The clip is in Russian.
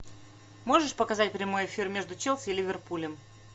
можешь показать прямой эфир между челси и ливерпулем